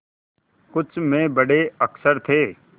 कुछ में बड़े अक्षर थे